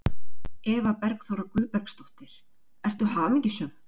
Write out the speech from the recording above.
Eva Bergþóra Guðbergsdóttir: Ertu hamingjusöm?